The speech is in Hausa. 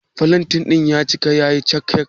Flantain din ya yi cikakke?